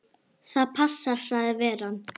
Það passar sagði veran.